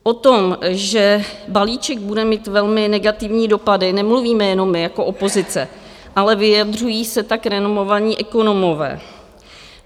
O tom, že balíček bude mít velmi negativní dopady, nemluvíme jenom my jako opozice, ale vyjadřují se tak renomovaní ekonomové.